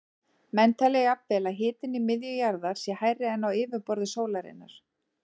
Menn telja jafnvel að hitinn í miðju jarðar sé hærri en á yfirborði sólarinnar.